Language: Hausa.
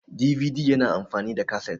DVD yana amfani da kasit